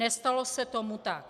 Nestalo se tomu tak.